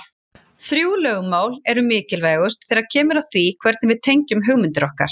Þrjú lögmál eru mikilvægust þegar kemur að því hvernig við tengjum hugmyndir okkar.